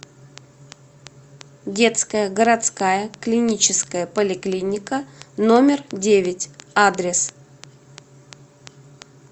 детская городская клиническая поликлиника номер девять адрес